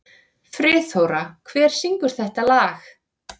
Friðþóra, hver syngur þetta lag?